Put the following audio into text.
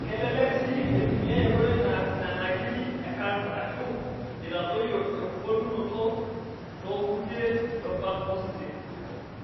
Kelelek sii eitumiyai enkoitoi naar nena kiri e kansa aashu eitadoyio embulunoto ttokutie rubat osesen.